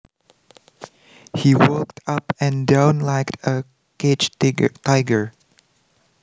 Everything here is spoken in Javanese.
He walked up and down liked a caged tiger